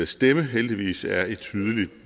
stemme heldigvis er i tydelig